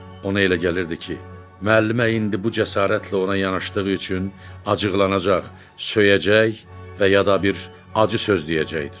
Ona elə gəlirdi ki, müəllimə indi bu cəsarətlə ona yanaşdığı üçün acıqlanacaq, söyəcək və ya da bir acı söz deyəcəkdir.